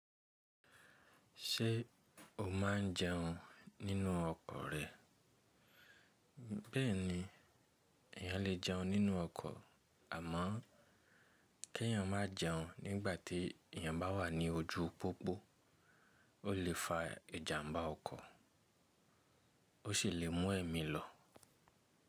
Ṣé o máa ń jẹun nínú ọkọ̀ rẹ? Bẹ́ẹ̀ni, èyàn lè jẹun nínú ọkọ̀ àmọ́ kí èyàn má jẹun nígbàtí èyàn bá wà ní ojú pópó ó lè fa ìjàmbá ọkọ̀ ó sì lè mú ẹ̀mí lọ.